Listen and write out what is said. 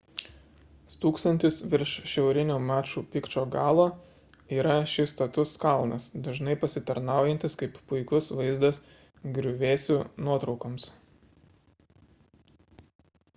stūksantis virš šiaurinio maču pikču galo yra šis status kalnas dažnai pasitarnaujantis kaip puikus vaizdas griuvėsių nuotraukoms